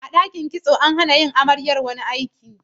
A ɗakin kitso, an hana amaryar yin wani aiki.